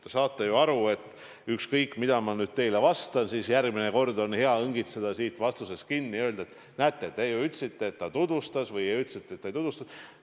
Te saate ju aru, et ükskõik mida ma teile vastan, järgmine kord on hea õngitseda siit vastusest midagi välja ja öelda, et näete, te ju ütlesite, et ta tutvustas, või ütlesite, et ta ei tutvustanud.